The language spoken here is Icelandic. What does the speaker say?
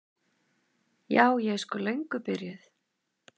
Ja, ég er sko löngu byrjuð.